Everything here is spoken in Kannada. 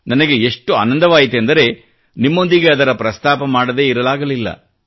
ನನಗೆ ಎಷ್ಟು ಆನಂದವಾಯಿತೆಂದರೆ ನಿಮ್ಮೊಂದಿಗೆ ಅದರ ಪ್ರಸ್ತಾಪ ಮಾಡದೇ ಇರಲಾಗಲಿಲ್ಲ